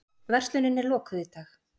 Verslunin er lokuð í dag